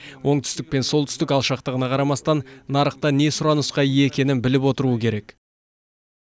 оңтүстік пен солтүстік алшақтығына қарамастан нарықта не сұранысқа ие екенін біліп отыруы керек